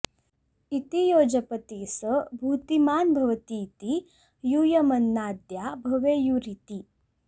इति यो जपति स भूतिमान् भवतीति यूयमन्नाद्या भवेयुरिति